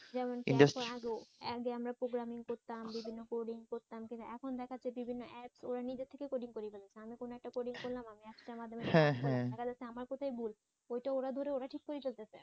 আগে আমরা প্রোগ্রামিং করতাম বিভিন্ন কোডিং করতাম কিন্তু এখন দেখাচ্ছে বিভিন্ন এপ্স ওরা নিজে থেকেই কোডিং করে নাইলে কোন একটা কোডিং করলাম আমি একটা দেখা যাচ্ছে আমার কথাই ভুল ওটা ওরা ধরে ওটা ওরা ধরে ওরাই ঠিক করে ফেলতেছে।